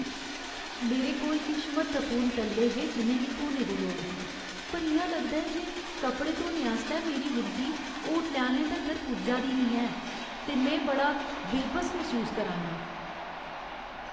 मेरे कोल किश म्हत्तवपूर्ण टल्ले हे जि'नें गी धोने दी लोड़ ही, पर इ'यां लगदा ऐ जे कपड़े धोने आस्तै मेरी विनती होटलै आह्‌लें तगर पुज्जा दी नेईं ऐ , ते में बड़ा बेबस मसूस करा ना आं।